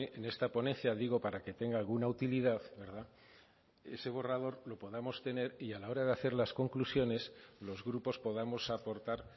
en esta ponencia digo para que tenga alguna utilidad ese borrador lo podamos tener y a la hora de hacer las conclusiones los grupos podamos aportar